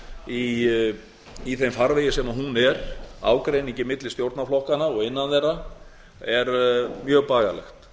skuli vera í þeim farvegi sem hún er ágreiningi milli stjórnarflokkanna og innan þeirra er mjög bagalegt